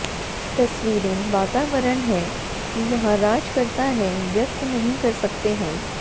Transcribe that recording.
तस्वीरें वातावरण है कि यहां राज करता है व्यक्त नहीं कर सकते हैं